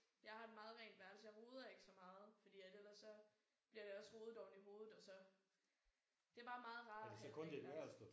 Jeg har et meget rent værelse. Jeg roder ikke så meget fordi at ellers så bliver det også rodet oveni hovedet og så. Det bare meget rart at have et rent værelse